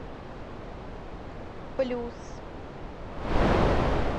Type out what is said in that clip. плюс